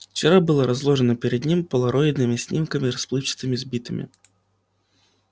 вчера было разложено перед ним полароидными снимками расплывчатыми сбитыми